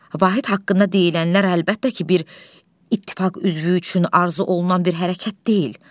Vahid haqqında deyilənlər əlbəttə ki, bir ittifaq üzvü üçün arzu olunan bir hərəkət deyil.